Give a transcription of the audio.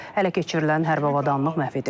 Hələ keçirilən hərbi avadanlıq məhv edilib.